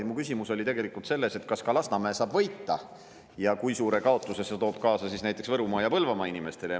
Mu küsimus oli tegelikult selles, kas ka Lasnamäe saab võita ja kui suure kaotuse see toob kaasa näiteks Võrumaa ja Põlvamaa inimestele.